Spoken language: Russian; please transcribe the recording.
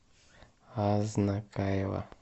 азнакаево